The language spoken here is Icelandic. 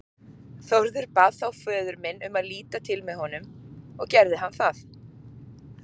Þórður bað þá föður minn um að líta til með honum og gerði hann það.